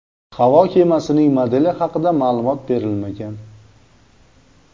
Havo kemasining modeli haqida ma’lumot berilmagan.